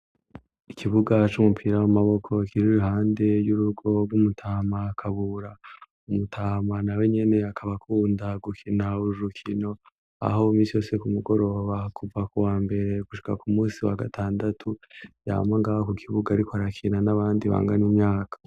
Ikibugaco umupira w'amaboko bakiruri hande ry'uruwobw' umutamakabura umutahmana we nyene yakaba ko uwundagukina wurujukino aho uumisyose ku mugororo bahakuva ku wa mberee gushika ku musi wa gatandatu yamangaba ku kibuga ari ko arakina n'abandi bangana imyaka.